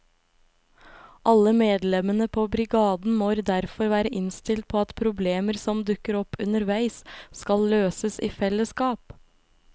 Alle medlemmene på brigaden må derfor være innstilt på at problemer som dukker opp underveis skal løses i fellesskap.